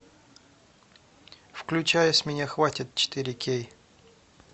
включай с меня хватит четыре кей